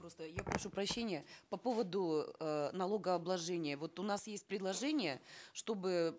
просто я прошу прощения по поводу э налогообложения вот у нас есть предложение чтобы